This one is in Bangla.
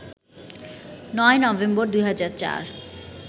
৯ নভেম্বর, ২০০৪